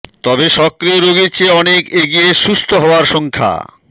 তবে সক্রিয় রোগীর চেয়ে অনেক এগিয়ে সুস্থ হওয়ার সংখ্যা